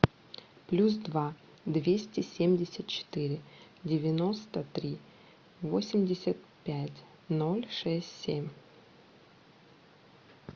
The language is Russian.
плюс два двести семьдесят четыре девяносто три восемьдесят пять ноль шесть семь